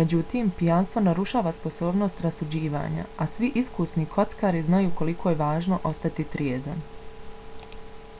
međutim pijanstvo narušava sposobnost rasuđivanja a svi iskusni kockari znaju koliko je važno ostati trijezan